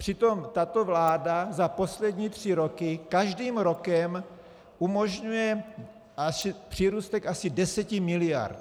Přitom tato vláda za poslední tři roky každým rokem umožňuje přírůstek asi 10 mld.